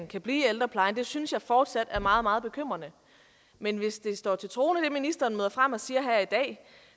kan blive i ældreplejen det synes jeg fortsat er meget meget bekymrende men hvis det står til troende hvad ministeren møder frem og siger her i dag